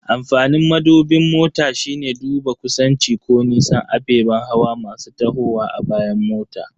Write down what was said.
Amfanin madubin mota shine duba kusanci ko nisan ababen hawa masu tahowa a bayan mota.